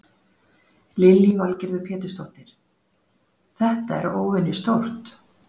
Lillý Valgerður Pétursdóttir: Þetta er óvenjustórt?